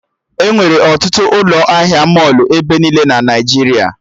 Enwere ọtụtụ ụlọ ahịa mọlụ ebe niile na Naijiria